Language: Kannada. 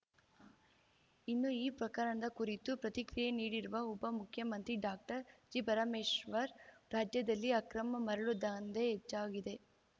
ಇನ್ನು ಈ ಪ್ರಕರಣದ ಕುರಿತು ಪ್ರತಿಕ್ರಿಯೆ ನೀಡಿರುವ ಉಪ ಮುಖ್ಯಮಂತ್ರಿ ಡಾಕ್ಟರ್ ಜಿಪರಮೇಶ್ವರ್‌ ರಾಜ್ಯದಲ್ಲಿ ಅಕ್ರಮ ಮರಳು ದಂಧೆ ಹೆಚ್ಚಾಗಿದೆ